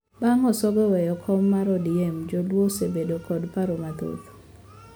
Bang` Osongo oweyo kom mar ODM joluo osebedo kod paro mathoth